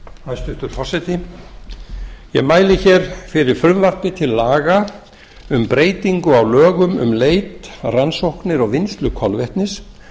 hæstvirtur forseti ég mæli hér fyrir frumvarpi til laga um breytingu á lögum um leit rannsóknir og vinnslu kolvetnis